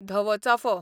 धवो चाफो